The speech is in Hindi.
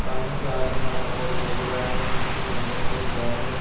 सामने से आदमी आता हुआ दिखाई दे रहा है जिसके कंधे पर एक बैग है।